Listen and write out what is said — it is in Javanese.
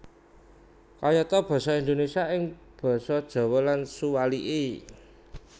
Kayata basa Indonésia ing basa Jawa lan suwalike